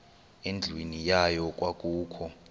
endlwini yayo kwakukho